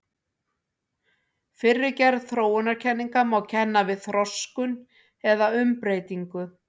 Fyrri gerð þróunarkenninga má kenna við þroskun eða umbreytingu.